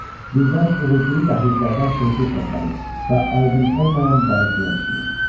Birdən uğultulu dəhlizlərdən şeypur səsləri və aydın olmayan bağırtılar eşidilir.